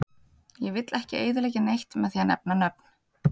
Ég vill ekki eyðileggja neitt með því að nefna nöfn.